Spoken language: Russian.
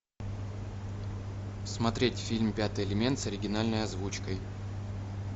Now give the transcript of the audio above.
смотреть фильм пятый элемент с оригинальной озвучкой